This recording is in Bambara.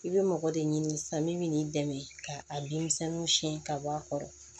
I bɛ mɔgɔ de ɲini sisan min bɛ n'i dɛmɛ ka a bin misɛnninw siyɛn ka bɔ a kɔrɔ